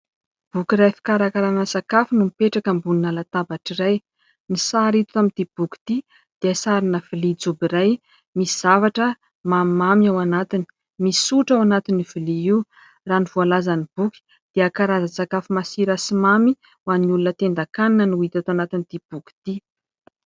Boky iray fikarakarana sakafo no mipetraka ambonina latabatra iray, ny sary hita amin'ity boky ity dia sarina vilia jobo iray misy zavatra mamimamy ao anatiny ; misy sotro ao anatin'io vilia io. Raha ny voalazan'ny boky dia karazan-tsakafo masira sy mamy ho an'ny olona tendan-kanina no hita ato anatin'ity boky ity.